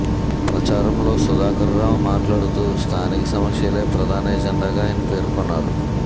ప్రచారంలో సుధాకరరావు మాట్లాడుతూ స్తానిక సమస్యలే ప్రధాన ఎజెండగా ఆయన పేర్కొన్నారు